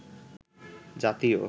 জাতীয়